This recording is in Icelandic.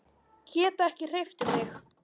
Get ekki hreyft mig.